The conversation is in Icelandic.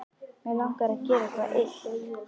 Mig langar að gera eitthvað illt.